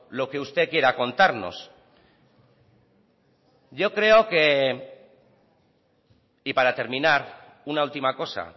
lo que usted quiera contarnos yo creo que y para terminar una última cosa